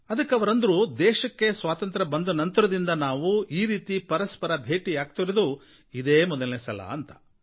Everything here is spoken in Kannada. ಅದಕ್ಕೆ ಅವರಂದ್ರು ದೇಶಕ್ಕೆ ಸ್ವಾತಂತ್ರ್ಯ ಬಂದ ನಂತರದಿಂದ ನಾವು ಹೀಗೆ ಪರಸ್ಪರ ಭೇಟಿಯಾಗಿರೋದು ಇದೇ ಮೊದಲನೇ ಸಲ ಅಂತ